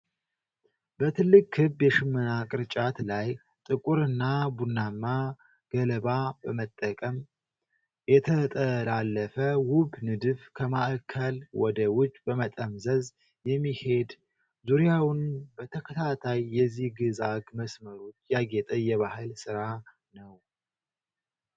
በትልቅ ክብ የሽመና ቅርጫት ላይ፣ ጥቁርና ቡናማ ገለባ በመጠቀም የተጠላለፈ ውብ ንድፍ ከማዕከል ወደ ውጪ በመጠምዘዝ የሚሄድ፣ ዙሪያውን በተከታታይ የዚግዛግ መስመሮች ያጌጠ የባህል ሥራ ነው።